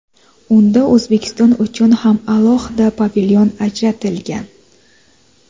Unda O‘zbekiston uchun ham alohida pavilyon ajratilgan.